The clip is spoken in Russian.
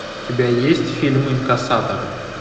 у тебя есть фильм инкассаторы